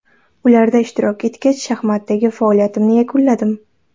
Ularda ishtirok etgach, shaxmatdagi faoliyatimni yakunladim.